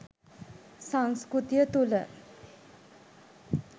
සංස්කෘතිය තුල